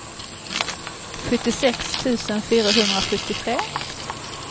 sjuttiosex tusen fyrahundrasjuttiotre